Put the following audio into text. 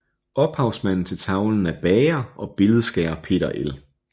Ophavsmanden til tavlen er bager og billedskærer Peter L